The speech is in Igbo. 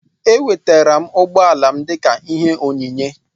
Enwetara m ụgbọala m dịka ihe onyinye